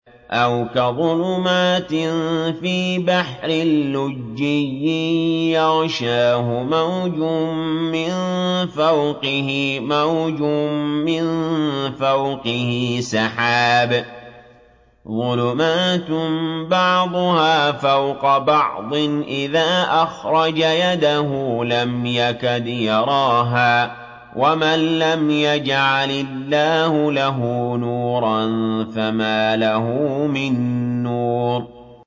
أَوْ كَظُلُمَاتٍ فِي بَحْرٍ لُّجِّيٍّ يَغْشَاهُ مَوْجٌ مِّن فَوْقِهِ مَوْجٌ مِّن فَوْقِهِ سَحَابٌ ۚ ظُلُمَاتٌ بَعْضُهَا فَوْقَ بَعْضٍ إِذَا أَخْرَجَ يَدَهُ لَمْ يَكَدْ يَرَاهَا ۗ وَمَن لَّمْ يَجْعَلِ اللَّهُ لَهُ نُورًا فَمَا لَهُ مِن نُّورٍ